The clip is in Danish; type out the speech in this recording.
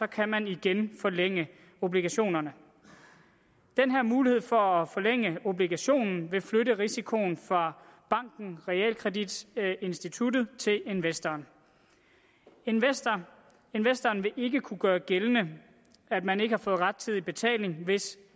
kan man igen forlænge obligationerne den her mulighed for at forlænge obligationen vil flytte risikoen fra banken og realkreditinstituttet til investoren investoren investoren vil ikke kunne gøre gældende at man ikke har fået rettidig betaling hvis